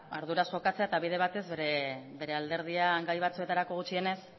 arduraz jokatzea eta bide batez bere alderdian gai batzuetarako gutxienez